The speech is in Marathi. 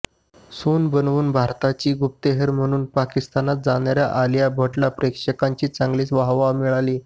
सून बनवून भारताची गुप्तहेर म्हणून पाकिस्तानात जाणाऱ्या आलिया भट्टला प्रेक्षकांची चांगलीच वाहवा मिळाली